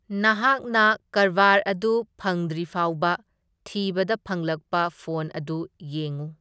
ꯅꯍꯥꯛꯅ ꯀꯔꯕꯥꯔ ꯑꯗꯨ ꯐꯪꯗ꯭ꯔꯤꯐꯥꯎꯕ ꯊꯤꯕꯗ ꯐꯪꯂꯛꯄ ꯐꯣꯟ ꯑꯗꯨ ꯌꯦꯡꯎ꯫